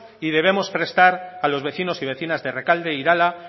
y debemos prestar a los vecinos y vecinas de rekalde irala